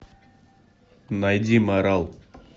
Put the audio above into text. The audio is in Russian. найди марал